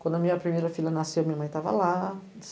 Quando a minha primeira filha nasceu, minha mãe estava lá.